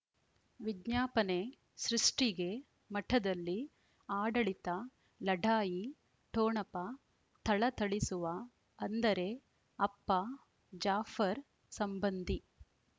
ವಿಜ್ಞಾಪನೆ ಸೃಷ್ಟಿಗೆ ಮಠದಲ್ಲಿ ಆಡಳಿತ ಲಢಾಯಿ ಠೊಣಪ ಥಳಥಳಿಸುವ ಅಂದರೆ ಅಪ್ಪ ಜಾಫರ್ ಸಂಬಂಧಿ